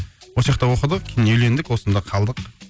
осы жақта оқыдық үйлендік осында қалдық